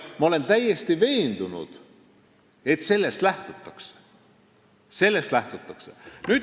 Ma olen selles täiesti veendunud, et sellest lähtutakse.